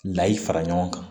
Layi fara ɲɔgɔn kan